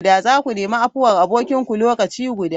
Za ku nemi afuwar abokinku lokaci guda!